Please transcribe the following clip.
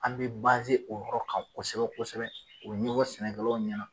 An bɛ o yɔrɔ kan kosɛbɛ-kosɛbɛ o ɲɔgɔ sɛnɛkɛlaw ɲɛna.